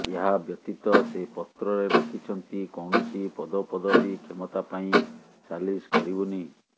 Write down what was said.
ଏହା ବ୍ୟତୀତ ସେ ପତ୍ରରେ ଲେଖିଛନ୍ତି କୌଣସି ପଦପଦବୀ କ୍ଷମତା ପାଇଁ ସାଲିସ କରିବୁନି